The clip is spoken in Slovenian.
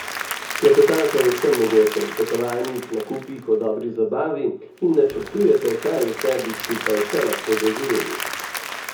Klepetate o vsem mogočem, potovanjih, nakupih, o dobri zabavi in načrtujete, kaj vse bi skupaj še lahko doživeli.